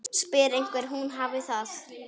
Spyr hvernig hún hafi það.